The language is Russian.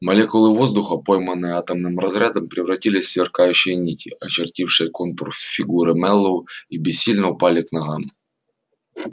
молекулы воздуха пойманные атомным разрядом превратились в сверкающие нити очертившие контур фигуры мэллоу и бессильно упали к ногам